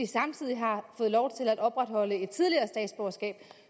samtidig har fået lov til at opretholde et tidligere statsborgerskab